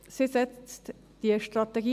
Sie setzt die Strategie